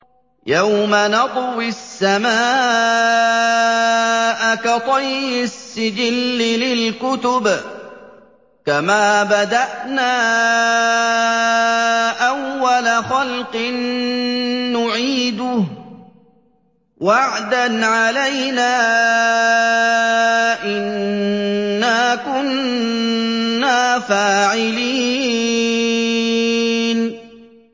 يَوْمَ نَطْوِي السَّمَاءَ كَطَيِّ السِّجِلِّ لِلْكُتُبِ ۚ كَمَا بَدَأْنَا أَوَّلَ خَلْقٍ نُّعِيدُهُ ۚ وَعْدًا عَلَيْنَا ۚ إِنَّا كُنَّا فَاعِلِينَ